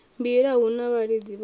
mbila hu na vhalidzi vhanzhi